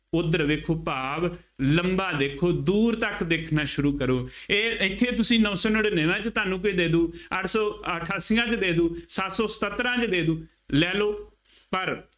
ਉੱਧਰ ਵੇਖੋ ਭਾਵ ਲੰਬਾ ਦੇਖੋ, ਦੂਰ ਤੱਕ ਦੇਖਣਾ ਸ਼ੁਰੂ ਕਰੋ, ਇਹ ਇੱਥੇ ਤੁਸੀਂ ਨੌ ਸੌ ਨੜਿੱਨਵਿਆਂ ਚ ਤੁਹਾਨੂੰ ਕੋਈ ਦੇ ਦਿਉ, ਅੱਠ ਸੌ ਅਠਾਸੀਆਂ ਚ ਦੇ ਦੇਊ, ਸੱਤ ਸੌ ਸਤੱਤਰਾ ਚ ਦੇ ਦੇਊ, ਲੈ ਲਉ, ਪਰ